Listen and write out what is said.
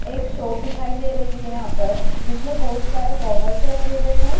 एक शॉप दिखाई दे रही है यहाँ पर जिसमें बहुत सारे गॉगल्स रखे हुए हैं।